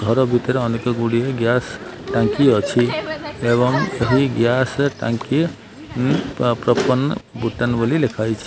ଘର ଭିତରେ ଅନେକ ଗୁଡ଼ିଏ ଗ୍ୟାସ ଟାଙ୍କି ଅଛି। ଏବଂ ଏହି ଗ୍ୟାସ ଟାଙ୍କି ଉ ପପର୍ନ ବୁଟାନ ବୋଲି ଲେଖାଯାଇଛି।